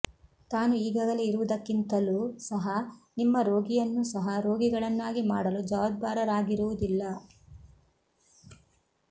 ತಾನು ಈಗಾಗಲೇ ಇರುವುದಕ್ಕಿಂತಲೂ ಸಹ ನಿಮ್ಮ ರೋಗಿಯನ್ನು ಸಹ ರೋಗಿಗಳನ್ನಾಗಿ ಮಾಡಲು ಜವಾಬ್ದಾರರಾಗಿರುವುದಿಲ್ಲ